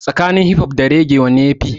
Tsakanin hip hop da raggae wanne ya fi?